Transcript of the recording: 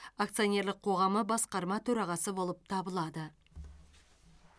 акционерлік қоғамы басқарма төрағасы болып табылады